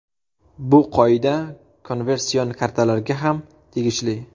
Bu qoida konversion kartalarga ham tegishli .